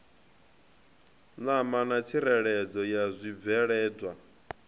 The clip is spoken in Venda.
ṋama na tsireledzo ya zwibveledzwa